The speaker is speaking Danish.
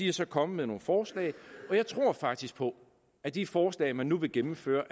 er så kommet med nogle forslag og jeg tror faktisk på at de forslag man nu vil gennemføre